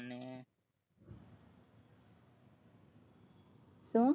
શું